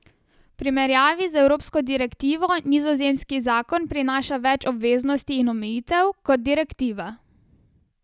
V primerjavi z evropsko direktivo nizozemski zakon prinaša več obveznosti in omejitev kot direktiva.